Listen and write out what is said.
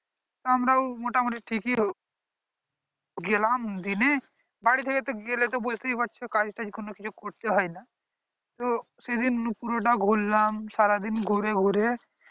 আমরাও মোটামোটি ঠিক ই গেলাম দিনে বাড়ী থেকে তো গেলে বুঝতেই পারছো কাজ তাজ কিছু করতে হয় না ও সেই দিন পুরো টা ঘুরলাম সারা দিন ঘুরে ঘুরে